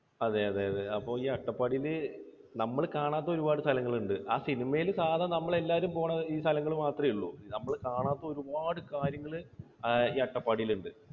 അതെ അതെ അതെ. അപ്പോൾ ഈ അട്ടപ്പാടിയിൽ നമ്മൾ കാണാത്ത ഒരുപാട് സ്ഥലങ്ങളുണ്ട്. ആ cinema യിൽ സാധാരണ നമ്മളെല്ലാവരും പോകുന്ന ഈ സ്ഥലങ്ങൾ മാത്രമേയുള്ളൂ. നമ്മൾ കാണാത്ത ഒരുപാട് കാര്യങ്ങൾ അഹ് ഈ അട്ടപ്പാടിയിൽ ഉണ്ട്.